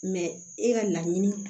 e ka laɲini